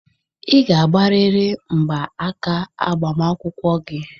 Ị ga-agbarịrị mgba aka agbamakwụkwọ gị!